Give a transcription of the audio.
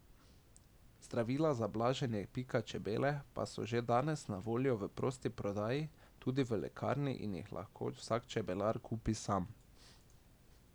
Zdravila za blaženje pika čebele pa so že danes na voljo v prosti prodaji tudi v lekarni in jih lahko vsak čebelar kupi sam.